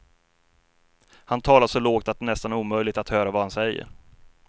Han talar så lågt att det är nästan omöjligt att höra vad han säger.